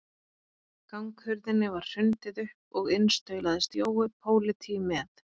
Ganghurðinni var hrundið upp og inn staulaðist Jói pólití með